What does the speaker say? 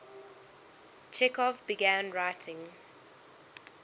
chekhov began writing